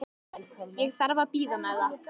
Ég þarf að bíða með það.